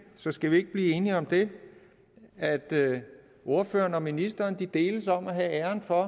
så skal vi ikke blive enige om det at ordføreren og ministeren deles om at have æren for